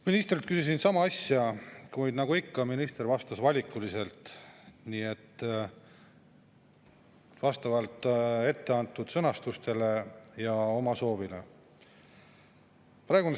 Ministrilt küsisin sama asja, kuid nagu ikka, minister vastas valikuliselt, vastavalt etteantud sõnastusele ja oma soovile.